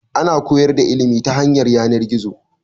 Ana koyar da ilimi ta hanyar yanan-gizo